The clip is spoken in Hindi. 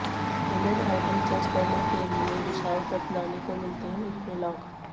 इंडियन आइडल जज करने के लिए विशाल ददलानी को मिलते हैं इतने लाख